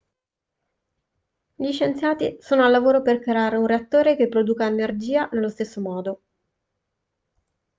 gli scienziati sono al lavoro per creare un reattore che produca energia nello stesso modo